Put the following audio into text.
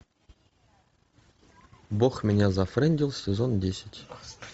бог меня зафрендил сезон десять